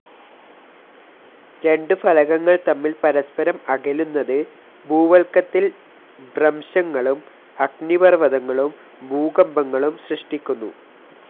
രണ്ടു ഫലകങ്ങൾ തമ്മിൽ പരസ്പരം അകലുന്നത്, ഭൂവൽക്കത്തിൽ ഭ്രംശങ്ങളും, അഗ്നിപർവതങ്ങളും, ഭൂകമ്പങ്ങളും സൃഷ്ടിക്കുന്നു.